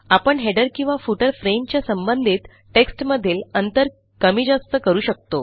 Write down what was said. आपणheader किंवा फुटर फ्रेमच्या संबंधित टेक्स्टमधील अंतर कमी जास्त करू शकतो